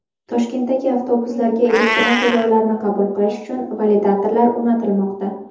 Toshkentdagi avtobuslarga elektron to‘lovlarni qabul qilish uchun validatorlar o‘rnatilmoqda.